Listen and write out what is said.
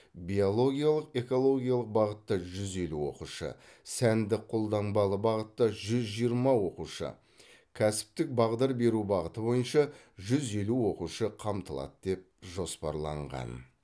биологиялық экологиялық бағытта жүз елу оқушы сәндік қолданбалы бағытта жүз жиырма оқушы кәсіптік бағдар беру бағыты бойынша жүз елу оқушы қамтылады деп жоспарланған